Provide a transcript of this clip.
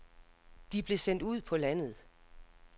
De blev sendt ud på landet.